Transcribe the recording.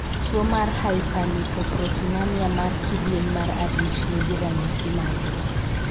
tuo mar Hyperlipoproteinemia mar kidieny mar abich ni gi ranyisi mage?